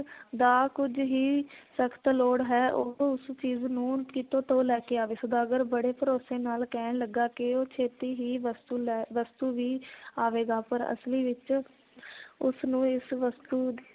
ਦਾ ਕੁਝ ਹੀ ਸਖਤ ਲੋੜ ਹੈ ਉਹ ਉਸ ਚੀਜ਼ ਨੂੰ ਕਿਤੋਂ ਤੋਂ ਲੈ ਕੇ ਆਵੇ ਸੌਦਾਗਰ ਬੜੇ ਭਰੋਸੇ ਨਾਲ ਕਹਿਣ ਲੱਗਾ ਕਿ ਉਹ ਛੇਤੀ ਹੀ ਵਸਤੂ ਲੈ ਵਸਤੂ ਵੀ ਆਵੇਗਾ ਪਰ ਅਸਲੀ ਵਿਚ ਉਸ ਨੂੰ ਇਸ ਵਸਤੂ